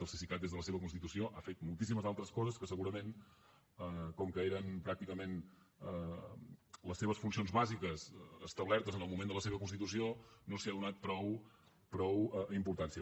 el cesicat des de la seva constitució ha fet moltíssimes altres coses que segurament com que eren pràcticament les seves funcions bàsiques establertes en el moment de la seva constitució no s’hi ha donat prou importància